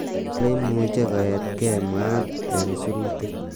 "Kole imuchi koet kei", mwaat ing sirutik.